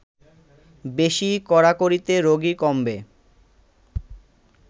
বেশি কড়াকড়িতে রোগী কমবে